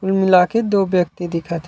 कुल मिला के दो व्यक्ति दिखत हे ।